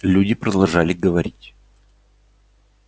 люди продолжали говорить